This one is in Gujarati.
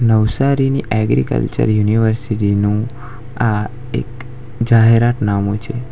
નવસારી ની એગ્રીકલ્ચર યુનિવર્સિટી નું આ એક જાહેરાતનામું છે.